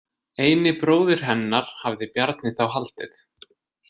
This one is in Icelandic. Eini bróðir hennar, hafði Bjarni þá haldið.